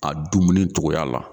A dumuni cogoya la